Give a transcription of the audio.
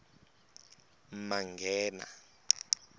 manghena